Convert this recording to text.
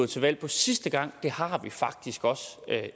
til valg på sidste gang har vi faktisk også